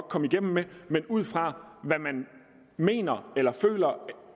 komme igennem med men ud fra hvad man mener eller føler